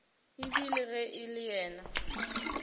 ebile ge e le yena